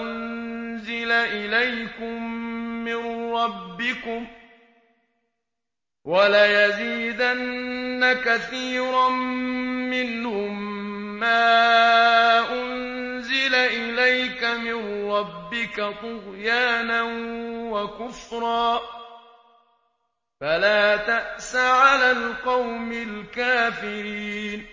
أُنزِلَ إِلَيْكُم مِّن رَّبِّكُمْ ۗ وَلَيَزِيدَنَّ كَثِيرًا مِّنْهُم مَّا أُنزِلَ إِلَيْكَ مِن رَّبِّكَ طُغْيَانًا وَكُفْرًا ۖ فَلَا تَأْسَ عَلَى الْقَوْمِ الْكَافِرِينَ